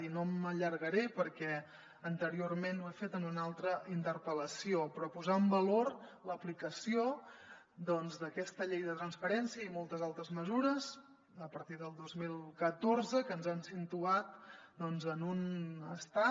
i no m’allargaré perquè anteriorment ho he fet en una altra interpel·lació però posar en valor l’aplicació doncs d’aquesta llei de transparència i moltes altres mesures a partir del dos mil catorze que ens han situat doncs en un estat